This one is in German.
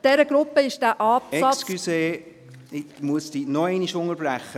Entschuldigen Sie, ich muss Sie noch einmal unterbrechen.